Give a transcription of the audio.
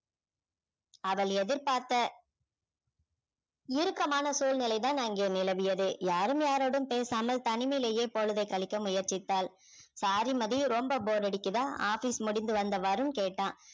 அவள் எதிர்பார்த்த இறுக்கமான சூழ்நிலை தான் அங்கே நிலவியது யாரும் யாரோடும் பேசாமல் தனிமையிலயே பொழுதை கழிக்க முயற்சித்தாள் sorry மதி ரொம்ப bore அடிக்குதா office முடிந்து வந்த வருண் கேட்டான்